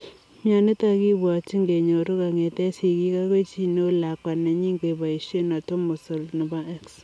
Mionitok kibwatchin kenyoru kongetee sigik agoi chi neu lakwa nenyii kebaisie atomosol nepo X